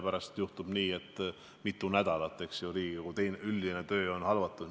Pärast võiks juhtuda nii, et mitu nädalat on Riigikogu üldine töö halvatud.